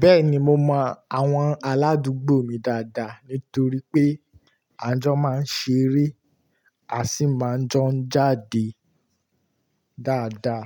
Bẹ́ẹ̀ni mo mọ àwọn aládùúgbò mi dáadáa nítorí pé à ń jọ máa ń ṣeré, a sì máa ń jọ ń jáde dáadáa.